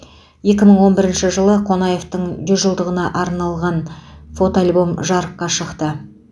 екі мың он бірінші жылы қонаевтың жүз жылдығына арналған фотоальбом жарыққа шықты